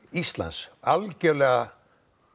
Íslands algjörlega